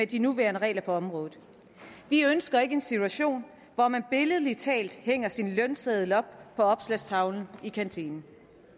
de nuværende regler på området vi ønsker ikke en situation hvor man billedlig talt hænger sin lønseddel op på opslagstavlen i kantinen